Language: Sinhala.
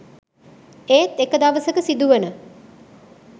ඒත් එක දවසක සිදුවන